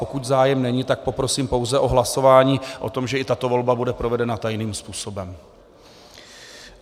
Pokud zájem není, pak poprosím pouze o hlasování o tom, že i tato volba bude provedena tajným způsobem.